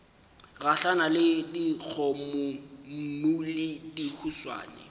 gahlana le dikgomommuu le dihuswane